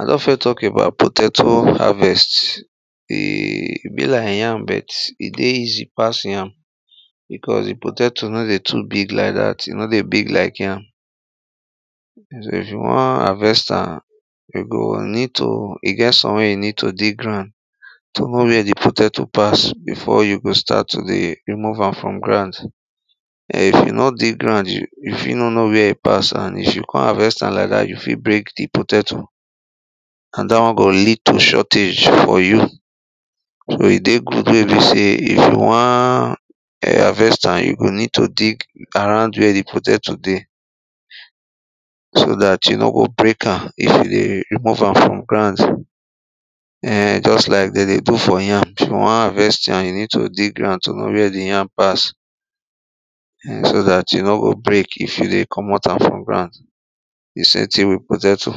i don first talk about potatoe harvest, um e be like yam bet e dey easy pass yam. because di potatoe no dey too big like dat, e no dey big like yam so if you wan harvest am, you go need to, e get some wey e need to dig ground to know where di potatoe pass before you go start to dey remove am from ground. um If you no dig ground you fit no know where e pass and if you con harvest am like that you fit break di potatoe. and dat won go lead to shortage for you so e dey good we e be sey if you wan um harvest am, you go need to dig around where di potatoe dey. so dat you no go break am if you dey remove am from ground um just like them dey do for yam, if you won harvest yam, you need to dig ground to know where the yam pass um so dat e no go break if you dey commot am from ground, di same thing with potato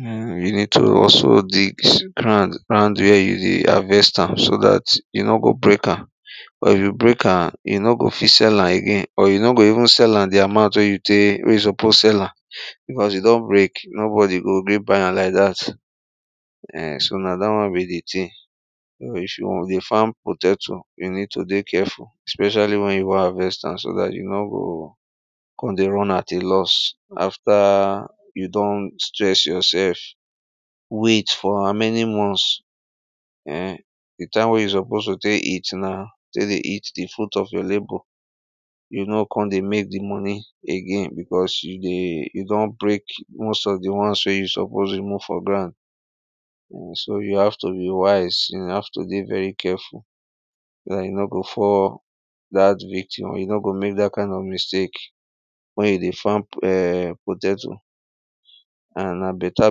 um you need to also dig ground round wey you dey harvest am so dat you no go break am. Cos if you break am, you no go fit sell am again or you no go even sell am the amount wey you take wey you suppose sell am because you don break, nobody go gree buy am like dat. um so na dat won be di thing. if you wan dey farm potatoe, you need to dey careful especially wen you wan harvest am so that you no go kon dey run at a loss after you don stress yourself wait for how many months um di time wen you suppose to tek eat now, tek dey eat di fruit of your labour you no kon dey mek di money again because you dey you don break most of di ones wey you suppose remove for ground so you have to be wise, you have to dey very careful so you no go fall that victim or you no go mek dat kind of mistake wen you dey farm um potatoe and na beta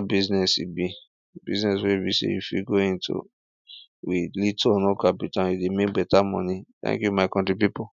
busines e be business wen be sey if you go into with little or no capital and you dey make beta moni. thank you my country people